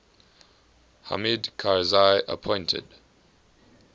hamid karzai appointed